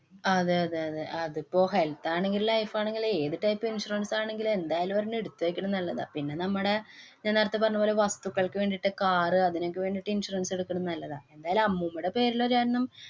അതേ, അതേ, അതെ. അതിപ്പോ health ആണെങ്കിലും, life ആണെങ്കിലും, ഏതു type insurance ആണെങ്കിലും എന്തായാലും ഒരെണ്ണം എടുത്തേക്കണെ നല്ലതാ. പിന്നെ, നമ്മടെ ഞാന്‍ നേരത്തെ പറഞ്ഞപോലെ വസ്തുക്കള്‍ക്ക് വേണ്ടീട്ട് കാറ് അതിനൊക്കെ വേണ്ടീട്ട് insurance എടുക്കണ നല്ലതാ. എന്തായാലും അമ്മൂമ്മേടെ പേരില്‍ ഒരെണ്ണം